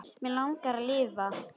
Mig langar að lifa.